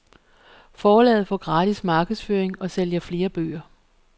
Forlaget får gratis markedsføring og sælger flere bøger.